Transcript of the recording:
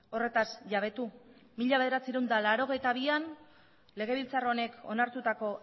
horretaz jabetu mila bederatziehun eta laurogeita bian legebiltzar honek onartutako